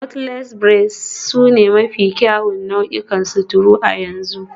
Knotless braids sune mafi kyawun nau'in sutura a yanzu